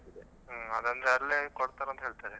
ಅದ್ ಅಂದ್ರೆ ಅಲ್ಲೇ ಕೊಡ್ತಾರೆ ಅಂತ ಹೇಳ್ತಾರೆ.